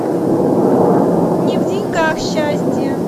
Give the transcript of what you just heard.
не в деньгах счастье